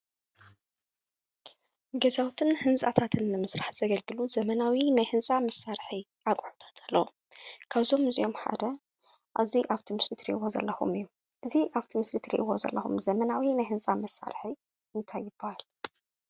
ገዛውትን ህንፃታትን ንምስራሕ ዘገልግሉ ዘመናዊ ናይ ህንፃ መሳርሒ ኣቑሕታት ኣሎ፡፡ ካብዞም እዚኦም ሓደ ኣብ ምስሊ እትሪእዎ ዘለኩም እዩ፡፡ እዚ ኣብ እቲ ምስሊ እትሪእዎ ዘለኩም ዘመናዊ ናይ ህንፃ መሳርሒ እንታይ ይባሃል?